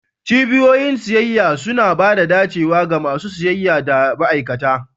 Cibiyoyin siyayya suna ba da dacewa ga masu siyayya da ma'aikata.